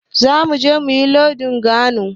Zamu je mu yi lodin kagon.